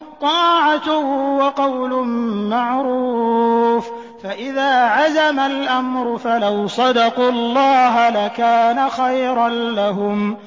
طَاعَةٌ وَقَوْلٌ مَّعْرُوفٌ ۚ فَإِذَا عَزَمَ الْأَمْرُ فَلَوْ صَدَقُوا اللَّهَ لَكَانَ خَيْرًا لَّهُمْ